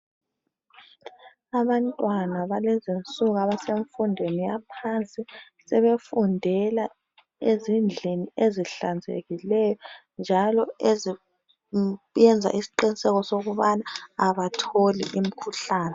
Abantwana balezinsuku ebasemfundweni yaphansi sebefundela ezindlini ezihlanzekileyo njalo eziyenza isqiniseko sokubana abatholi imikhuhlane.